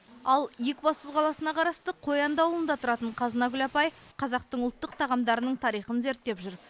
ал екібастұз қаласына қарасты қоянды ауылында тұратын қазынагүл апай қазақтың ұлттық тағамдарының тарихын зерттеп жүр